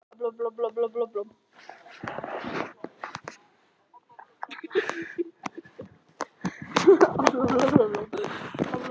Ef þeir þrír standa sig vel þá kaupi ég ekki annan sóknarmann.